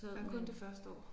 Nej kun det første år